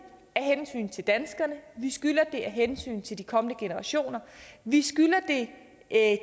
af hensyn til danskerne vi skylder det af hensyn til de kommende generationer vi skylder det af